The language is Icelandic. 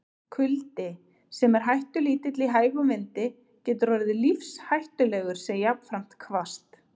Kuldi, sem er hættulítill í hægum vindi, getur orðið lífshættulegur sé jafnframt hvasst.